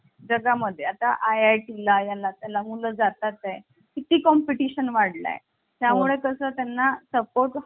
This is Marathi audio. जगा मध्ये आता IIT ला या नात्या ला मुलं जातात हे किती competition वाढला आहे त्यामुळे कसं त्यांना सपोर्ट support